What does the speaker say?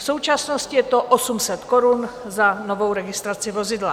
V současnosti je to 800 korun za novou registraci vozidla.